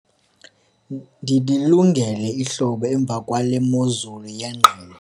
ndililungele ihlobo emva kwale mozulu yengqele